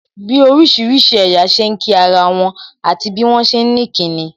Bí orísìírísìí ẹ̀yà ṣe ń kí ara wọn, àti bí wọn ṣe ni kí nin